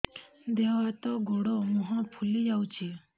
ଦେହ ହାତ ଗୋଡୋ ମୁହଁ ଫୁଲି ଯାଉଛି